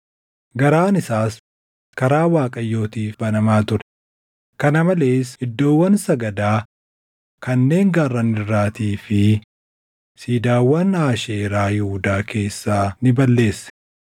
Garaan isaas karaa Waaqayyootiif banamaa ture; kana malees iddoowwan sagadaa kanneen gaarran irraatii fi siidaawwan Aasheeraa Yihuudaa keessaa ni balleesse.